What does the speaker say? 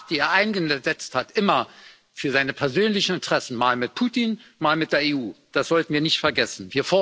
Eine Macht, die er immer eingesetzt hat für seine persönlichen Interessen, mal mit Putin, mal mit der EU. Das sollten wir nicht vergessen.